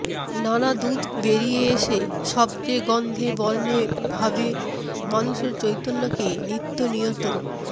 নানা দূত বেরিয়ে এসে শব্দে গন্ধে বর্ণে ভাবে মানুষের চৈতন্যকে নিত্য নিয়ত